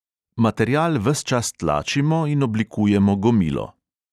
Material ves čas tlačimo in oblikujemo gomilo.